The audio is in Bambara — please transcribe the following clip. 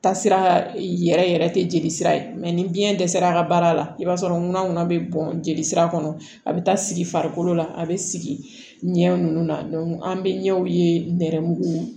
Taasira yɛrɛ yɛrɛ tɛ jeli sira ye mɛ ni biyɛn dɛsɛra a ka baara la i b'a sɔrɔ ŋunan ŋɔnɔ bi jelisira kɔnɔ a be taa sigi farikolo la a be sigi ɲɛ nunnu na an be ɲɛw ye nɛrɛmugumaw